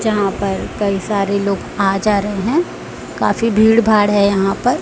यहां पर कई सारे लोग आ जा रहे हैं काफी भीड़ भाड़ है यहां पर।